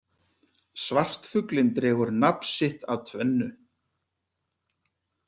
Svartfuglinn dregur nafn sitt af tvennu.